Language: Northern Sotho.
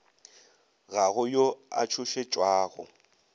ga go yo a tšhošetšwago